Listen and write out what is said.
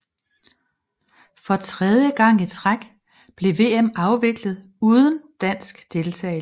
For tredje gang i træk blev VM afviklet uden dansk deltagelse